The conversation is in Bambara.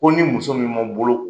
Ko ni muso min bolo ko.